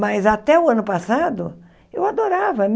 Mas até o ano passado, eu adorava.